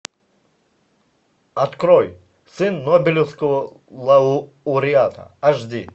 открой сын нобелевского лауреата аш ди